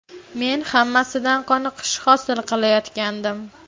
Men hammasidan qoniqish hosil qilayotgandim.